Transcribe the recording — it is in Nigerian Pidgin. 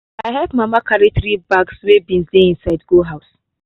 i help mama carry three bags wey beans dey inside go house